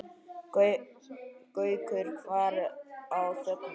Gaukur var á þönum.